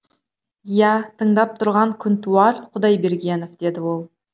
иә тыңдап тұрған күнтуар құдайбергенов деді ол